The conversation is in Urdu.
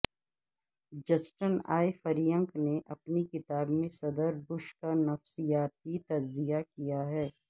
جسٹن اے فرینک نے اپنی کتاب میں صدر بش کا نفسیاتی تجزیہ کیا ہے